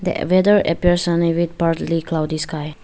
The weather appears sunny with partly cloudy sky.